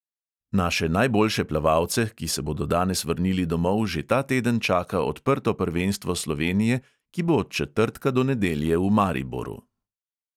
Naše najboljše plavalce, ki se bodo danes vrnili domov, že ta teden čaka odprto prvenstvo slovenije, ki bo od četrtka do nedelje v mariboru.